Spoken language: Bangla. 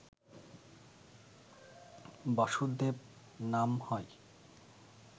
বাসুদেব নাম হয়